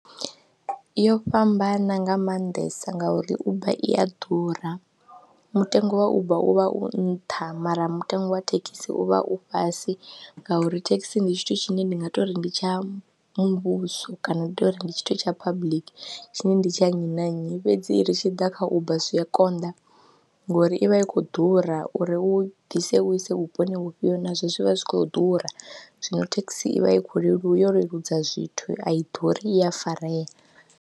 Yo fhambana nga maanḓesa ngauri uber i a ḓura mutengo wa Uber u vha u nṱha mara mutengo wa thekhisi u vha u fhasi ngauri thekhisi ndi tshithu tshine ndi nga tou ri ndi tsha muvhuso kana ndi tou ri ndi tshithu tsha public tshine ndi tshi ya nnyi na nnyi fhedzi i ri tshi ḓa kha Uber zwi a konḓa ngori i vha i khou ḓura uri u ḓise u ise vhuponi vhufhio nazwo zwi vha zwi khou ḓura, zwino thekhisi ivha i kho leluwa yo leludza zwithu a i ḓuri i a farea.